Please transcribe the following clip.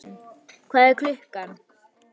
Bergvin, hvað er klukkan?